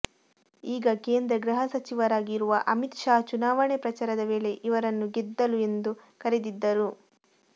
ಈಗ ಕೇಂದ್ರ ಗೃಹ ಸಚಿವರಾಗಿರುವ ಅಮಿತ್ ಷಾ ಚುನಾವಣೆ ಪ್ರಚಾರದ ವೇಳೆ ಇವರನ್ನು ಗೆದ್ದಲು ಎಂದು ಕರೆದಿದ್ದರು